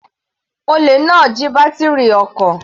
Olè náà jí bátírì ọkọ̀.